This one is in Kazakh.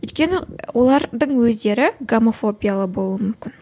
өйткені олардың өздері гомофобиялы болуы мүмкін